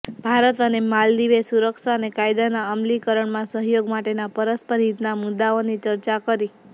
ભારત અને માલદીવે સુરક્ષા અને કાયદાના અમલીકરણમાં સહયોગ માટેના પરસ્પર હિતના મુદૃાઓની ચર્ચા કરી